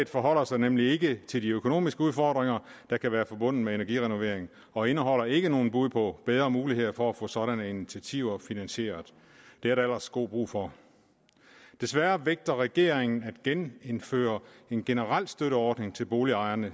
forholder sig nemlig ikke til de økonomiske udfordringer der kan være forbundet med energirenovering og indeholder ikke noget bud på bedre muligheder for at få sådanne initiativer finansieret det er der ellers god brug for desværre vægter regeringen at genindføre en generel støtteordning til boligejerne